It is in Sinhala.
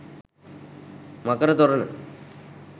මකර තොරණ